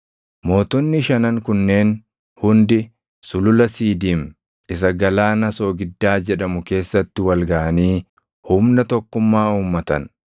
Mootonni shanan kunneen hundi sulula Siidiim isa Galaana Soogiddaa jedhamu keessatti wal gaʼanii humna tokkummaa uummatan.